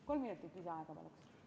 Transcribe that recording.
Kolm minutit lisaaega, palun!